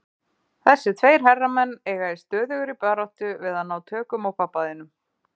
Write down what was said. Þessir tveir herramenn eiga í stöðugri baráttu við að ná tökum á pabba þínum.